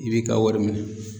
I b'i ka wari minɛn.